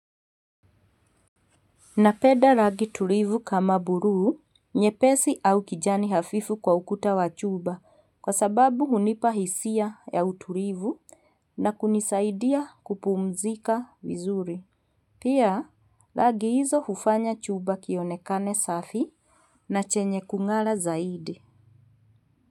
Napenda rangi tulivu kama buluu, nyepesi au kijani hafifu kwa ukuta wa chumba, kwa sababu hunipa hisia ya utulivu na kunisaidia kupumzika wizuri. Pia, rangi hizo hufanya chumba kionekane safi na chenye kungara zaidi.